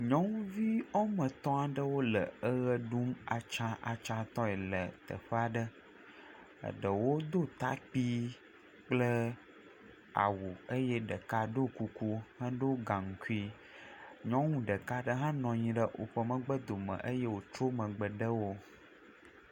Nyɔnu woame etɔ wole ewɔ ɖum atsatsa tɔe le teƒe aɖe, eɖewo do takpui kple awu eye ɖeka ɖɔ kuku kple gankui, nyɔnu ɖeka aɖe hã nɔ anyi ɖe eƒe megbe do me eye wotrɔ megbe dewo.